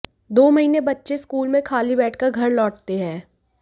दो महीने बच्चे स्कूल में खाली बैठकर घर लौटते हैं